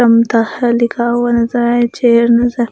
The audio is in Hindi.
चमता लिखा हुआ नजर आया चेयर नजर--